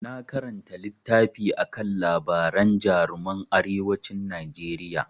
Na karanta littafi akan labaran jaruman arewacin Najeriya.